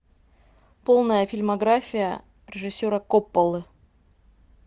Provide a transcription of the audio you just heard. полная фильмография режиссера копполы